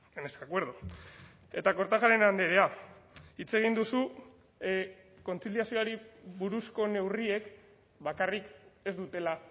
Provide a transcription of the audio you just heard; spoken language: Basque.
en este acuerdo eta kortajarena andrea hitz egin duzu kontziliazioari buruzko neurriek bakarrik ez dutela